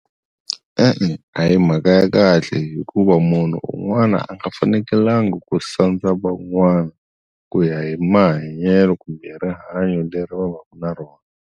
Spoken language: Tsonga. E-e a hi mhaka ya kahle hikuva munhu un'wana a nga fanekalanga ku sandza van'wana ku ya hi mahanyelo kumbe rihanyo leri va vaka na rona.